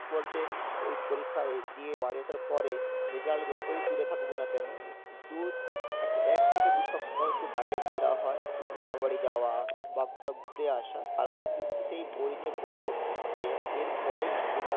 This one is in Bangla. বলতে ওই পরীক্ষা এ~ দিয়ে বাড়ি আসার পরে result যতই দূরে থাকুক না কেন দু~ এক~ এক থেকে দু সপ্তাহ একটু বাইরে ঘোড়া হয়, মামাবাড়ি যাওয়া বা কোথাও ঘুরে আসা তারপর কিন্তু সেই বই নিয়ে বসে পড়তে হয় যে এর পরে যেটা